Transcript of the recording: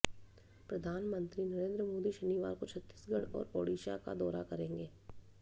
प्रधानमंत्री नरेंद्र मोदी शनिवार को छत्तीसगढ़ और ओडिशा का दौरा करेंगे